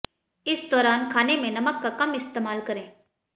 इस दौरान खाने में नमक का कम इस्तेमाल करें